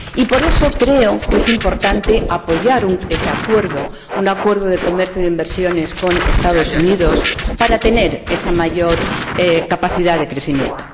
Y, por eso, creo que es importante apoyar este Acuerdo, un acuerdo de comercio y de inversiones con los Estados Unidos, para tener esa mayor capacidad de crecimiento.